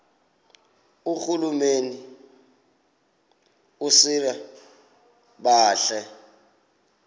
irhuluneli usir bartle